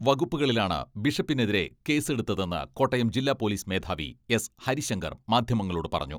വകുപ്പുകളിലാണ് ബിഷപ്പിനെതിരെ കേസെടുത്തതെന്ന് കോട്ടയം ജില്ലാ പോലീസ് മേധാവി എസ് ഹരിശങ്കർ മാധ്യമങ്ങളോട് പറഞ്ഞു.